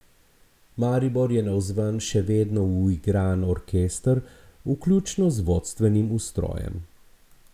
Maribor je navzven še vedno uigran orkester, vključno z vodstvenim ustrojem.